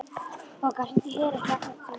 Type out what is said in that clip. Bogga, hringdu í Heru eftir átta mínútur.